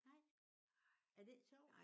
Nej. Er det ikke sjovt?